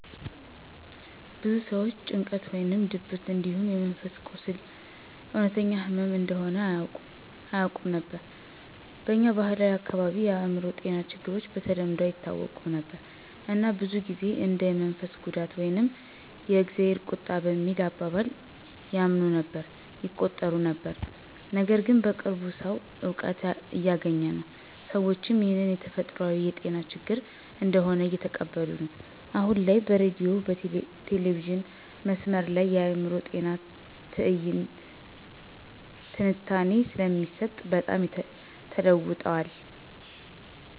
ብዙ ሰዎች ጭንቀት ወይም ድብርት እንዲሁም የመንፈስ ቁስል እውነተኛ ህመም እንደሆነ አያውቁም ነበር። በኛ ባህላዊ አካባቢዎች የአእምሮ ጤና ችግሮች በተለምዶ አይታወቁም ነበር እና ብዙ ጊዜ እንደ የመንፈስ ጉዳት ወይም የ"እግዜር ቁጣ" በሚል አባባል ያምኑ ነበር/ይቆጥሩት ነበር። ነገርግን በቅርቡ ሰዉ እውቀት እያገኘ ነው፣ ሰዎችም ይህን የተፈጥሯዊ የጤና ችግር እንደሆነ እየተቀበሉ ነዉ። አሁን ላይ በሬዲዮ/ቲቪ/መስመር ላይ የአእምሮ ጤና ትንታኔ ስለሚሰጥ በጣም ተለዉጠዋል።